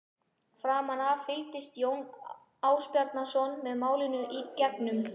Framan af fylgdist Jón Ásbjarnarson með málinu í gegnum